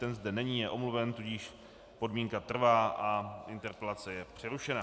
Ten zde není, je omluven, tudíž podmínka trvá a interpelace je přerušena.